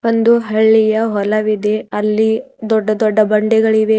ಒಂದು ಹಳ್ಳಿಯ ಹೊಲವಿದೆ ಅಲ್ಲಿ ದೊಡ್ಡ ದೊಡ್ಡ ಬಂಡೆಗಳಿವೆ.